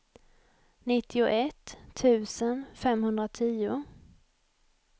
nittioett tusen femhundratio